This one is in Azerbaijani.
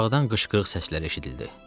Aşağıdan qışqırıq səsləri eşidildi.